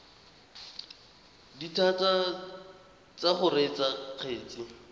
dithata tsa go reetsa kgetse